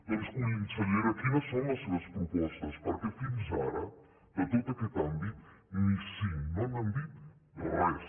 doncs consellera quines són les seves propostes perquè fins ara de tot aquest àmbit ni cinc no n’han dit res